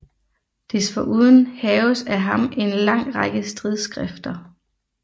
Desforuden haves af ham en lang række stridsskrifter